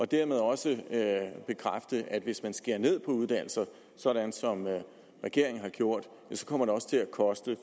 dermed også at hvis man skærer ned på uddannelse sådan som regeringen har gjort kommer det også til at koste